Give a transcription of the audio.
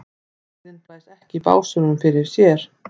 Dauðinn blæs ekki í básúnum fyrir sér.